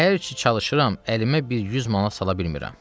Hər ki çalışıram, əlimə bir 100 manat sala bilmirəm.